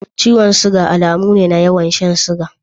Ciwon sukari alamu ne na yawan shan sugar.